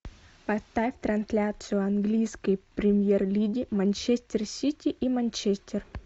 поставь трансляцию английской премьер лиги манчестер сити и манчестер